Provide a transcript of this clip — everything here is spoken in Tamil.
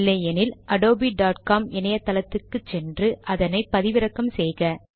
இல்லையென்றால் அடோபி com இணையத்துக்கு சென்று அதனை பதிவிறக்கம் செய்க